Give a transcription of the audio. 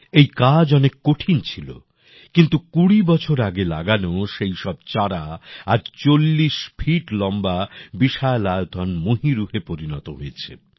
এই কাজ অনেক কঠোর ছিল কিন্তু কুড়ি বছর আগে লাগানো সেই সব চারা আজ চল্লিশ ফিট লম্বা বিশালায়তন মহীরুহে পরিণত হয়েছে